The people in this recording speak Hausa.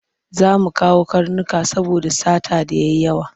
Za mu kawo karnuka saboda sata ta yi yawa.